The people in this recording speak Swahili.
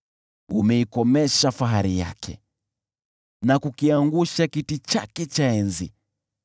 Umeikomesha fahari yake, na kukiangusha kiti chake cha enzi.